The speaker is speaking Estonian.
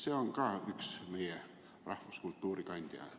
See on ka üks meie rahvuskultuuri kandjaid.